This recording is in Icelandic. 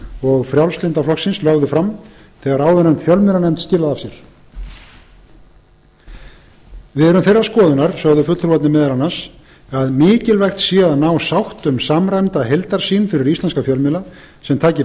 og frjálslynda flokksins lögðu fram þegar áðurnefnd fjölmiðlanefnd skilaði af sér við erum þeirrar skoðunar sögðu fulltrúarnir meðal annars að mikilvægt sé að ná sátt um samræmda heildarsýn fyrir íslenska fjölmiðla sem taki